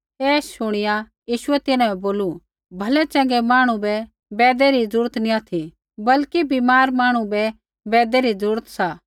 ऐ शुणिया यीशुऐ तिन्हां बै बोलू भलै चँगै मांहणु बै बैदै री ज़रूरत नी ऑथि बल्कि बीमार मांहणु बै बैदै री ज़रूरत सा